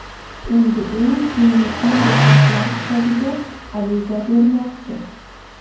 Endi u Ginnesning Rekordlar kitobiga ariza bermoqchi.